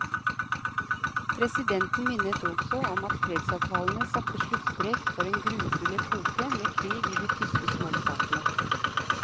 Presidenten minnet også om at fredsavtalene satte sluttstrek for en grufull epoke med krig i de tyske småstatene.